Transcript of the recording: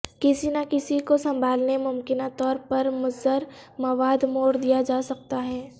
کسی نہ کسی کو سنبھالنے ممکنہ طور پر مضر مواد موڑ دیا جا سکتا ہے